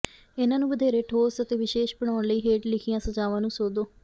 ਇਹਨਾਂ ਨੂੰ ਵਧੇਰੇ ਠੋਸ ਅਤੇ ਵਿਸ਼ੇਸ਼ ਬਣਾਉਣ ਲਈ ਹੇਠ ਲਿਖੀਆਂ ਸਜ਼ਾਵਾਂ ਨੂੰ ਸੋਧੋ